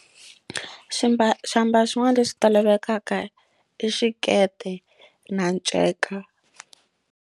Ximbalo xiambalo xin'wana lexi lavekaka i xikete na nceka.